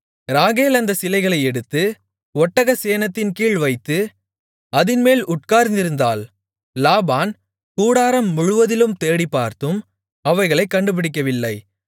ராகேல் அந்தச் சிலைகளை எடுத்து ஒட்டகச் சேணத்தின்கீழ் வைத்து அதின்மேல் உட்கார்ந்திருந்தாள் லாபான் கூடாரம் முழுவதிலும் தேடிப்பார்த்தும் அவைகளைக் கண்டுபிடிக்கவில்லை